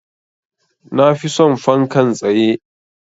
Na fi son fankan tsaye.